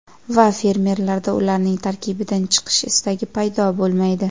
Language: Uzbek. Va fermerlarda ularning tarkibidan chiqish istagi paydo bo‘lmaydi.